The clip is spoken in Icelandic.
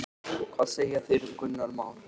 Hvað segja þeir um Gunnar Már?